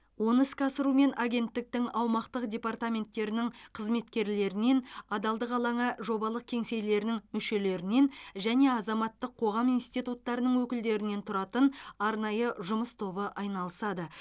оны іске асырумен агенттіктің аумақтық департаменттерінің қызметкерлерінен адалдық алаңы жобалық кеңселерінің мүшелерінен және азаматтық қоғам институттарының өкілдерінен тұратын арнайы жұмыс тобы айналысады